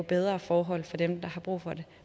bedre forhold for dem der har brug for det